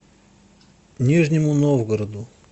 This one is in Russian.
нижнему новгороду